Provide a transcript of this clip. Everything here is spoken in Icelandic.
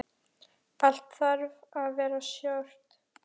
Allt þarf að vera stórt.